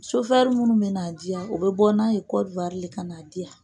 minnu bɛna diya u bɛ bɔ n'a ye de ka na diya.